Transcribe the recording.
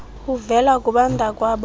uvela kubantakwabo koo